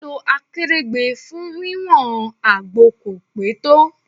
Lílọ Akèrègbè fún wí wọn àgbo kò pé tó.